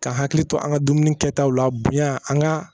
Ka hakili to an ka dumuni kɛtaw la bonya an ka